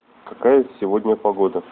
какая сегодня погода